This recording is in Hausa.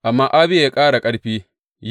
Amma Abiya ya ƙara ƙarfi.